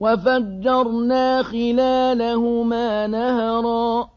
وَفَجَّرْنَا خِلَالَهُمَا نَهَرًا